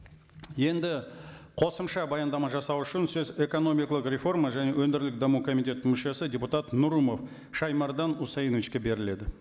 енді қосымша баяндама жасау үшін сөз экономикалық реформа және өңірлік даму комитетінің мүшесі депутат нұрымов шаймардан усаиновчике беріледі